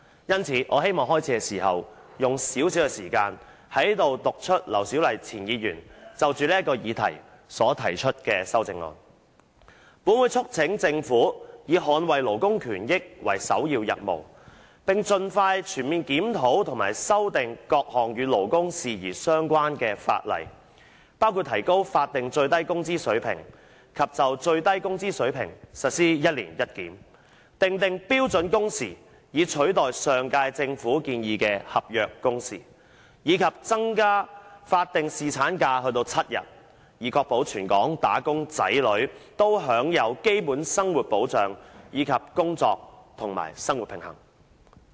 因此，我希望在開始發言時用少許時間，讀出前議員劉小麗就這項議案提出的修正案："本會促請政府以捍衞勞工權益為首要任務，並盡快全面檢討及修訂各項與勞工事宜有關的法例，包括提高法定最低工資水平及就最低工資水平實施'一年一檢'、訂定標準工時以取代上屆政府建議的'合約工時'，以及增加法定侍產假至7天，以確保全港'打工仔女'均享有基本生活保障及工作與生活平衡。